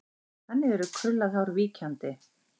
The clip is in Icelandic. Þannig er krullað hár víkjandi.